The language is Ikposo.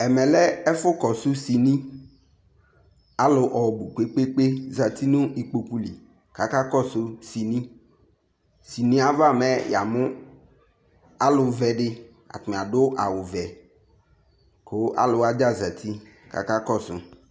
ɛmɛ lɛ ɛfʊ kɔsʊ sɩnɩ alu ɔbu gbegbeŋ zetɩnu ikpokuli kʊ aka kɔsu sɩnɩ sɩnɩ yɛ aʋa mɛ yamʊ aluvɛdɩ atanɩ adu awu vɛ ku aluwadja zeti ku akakɔsu